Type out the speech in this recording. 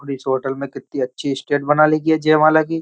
और इस होटल में कितनी अच्छी स्टेज बना ली है जयमाला की।